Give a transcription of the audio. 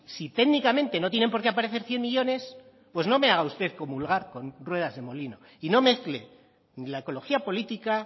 si técnicamente no tienen por qué aparecer cien millónes pues no me haga usted comulgar con ruedas de molino y no mezcle ni la ecología política